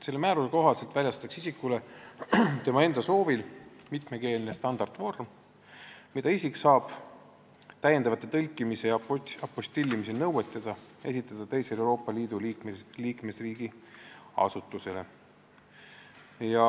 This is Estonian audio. Selle määruse kohaselt väljastatakse isikule tema enda soovil mitmekeelne standardvorm, mida isik saab täiendavate tõlkimise ja apostillimise nõueteta esitada teisele Euroopa Liidu liikmesriigi asutusele.